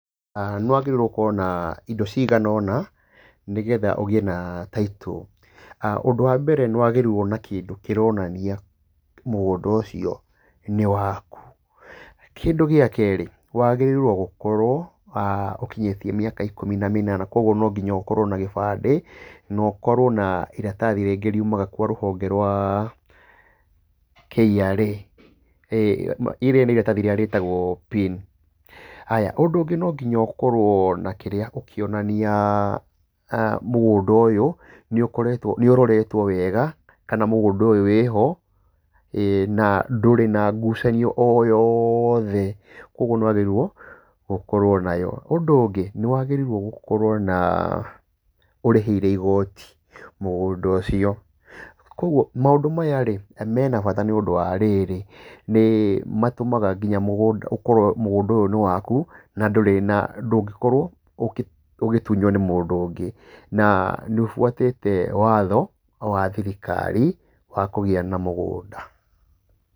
Nĩ wagĩrĩirwo gũkorwo na indo cigana ũna, nĩgetha ũgĩe na title. Ũndũ wa mbere nĩ wagĩrĩirwo na kĩndũ kĩronania mũgũnda ũcio nĩ waku. Kĩndũ gĩa kerĩ, wagĩrĩirwo gũkorwo ũkinyĩtie mĩaka ikũmi na mĩnana, koguo no nginya ũkorwo na gĩbandĩ no ũkorwo na iratathi rĩngĩ riumaga kwa rũhonge rwa KRA, rĩrĩ nĩ iratathi rĩrĩa rĩtagwo PIN. Haya, ũndũ ũngĩ no nginya ũkorwo na kĩrĩa ũkĩonania mügũnda ũyũ nĩ ũkoretwo nĩ ũroretwo wega kana mũgũnda ũyũ wĩho na ndũrĩ na ngucanio o yothe. Koguo nĩ wagĩrĩirwo ũkorwo nayo. Ũndũ ũngĩ nĩ wagĩrĩirwo na ũrĩhĩire igooti mũgũnda ũcio. Koguo maũndũ mena bata nĩ ũndũ wa rĩrĩ, nĩ matũmaga nginya mũgũnda ũkorwo mũgũnda ũyũ nĩ waku na ndũngĩkorwo ũgĩtunywo nĩ mũndũ ũngĩ. Na nĩ ũbuatĩte watho wa thirikari wa kũgĩa na mũgũnda.